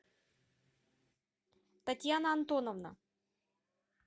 татьяна антоновна